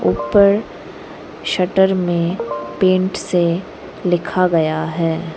ऊपर शट्टर में पेंट से लिखा गया है।